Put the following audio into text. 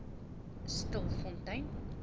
stilfontein